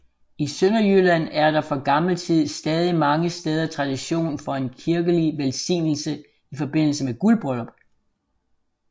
I Sønderjylland er der fra gammel tid stadig mange steder tradition for en kirkelig velsignelse i forbindelse med guldbryllup